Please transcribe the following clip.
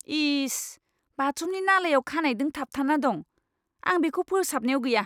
इस! बाथरुमनि नालायाव खानायदों थाबथाना दं! आं बेखौ फोसाबनायाव गैया!